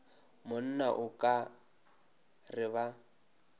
monna o ka re ba